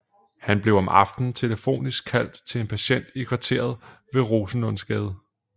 Han blev om aftenen telefonisk kaldt til en patient i kvarteret ved Rosenlundsgade